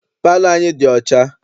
Palọ anyị dị ọcha.